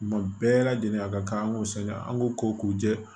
Kuma bɛɛ lajɛlen a ka kan an k'o san an k'o ko k'u jɛ